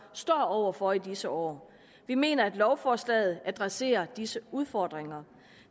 står over for i disse år vi mener at lovforslaget adresserer disse udfordringer